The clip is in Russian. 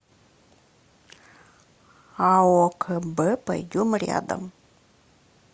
ао кб пойдем рядом